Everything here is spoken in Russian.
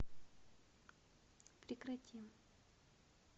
прекрати